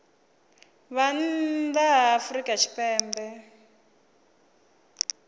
vha nnḓa ha afrika tshipembe